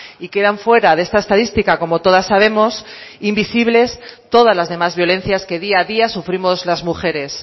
y quedan fuera de esta estadística como todas sabemos invisibles todas las demás violencias que día a día sufrimos las mujeres